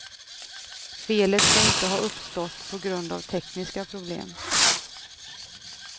Felet ska inte ha uppstått på grund av tekniska problem.